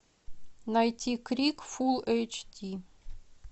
найти крик фул эйч ди